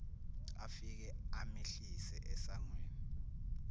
afike amehlise esangweni